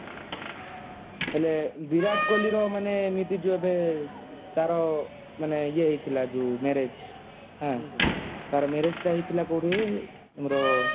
ହେଲେ ବିରାଟ କୋହଲୀ ର ମାନେ ଏବେ ଯୋଉ ଏବେ ତାର ମାନେ ତାର ୟେ ହେଇଥିଲା ଯାଉ marriage ତାର marriage ତ ହେଇଥିଲା କୋଉଠି ଆମର